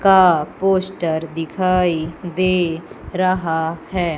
का पोस्टर दिखाई दे रहा है।